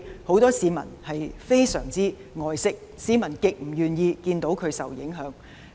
很多市民都非常愛惜香港的自然環境，極不願意看到環境受影響。